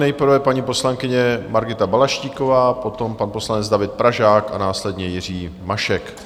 Nejprve paní poslankyně Margita Balaštíková, potom pan poslanec David Pražák a následně Jiří Mašek.